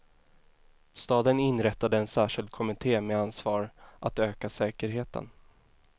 Staden inrättade en särskild kommitté med ansvar att öka säkerheten.